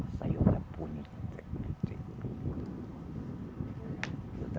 Saiona bonita.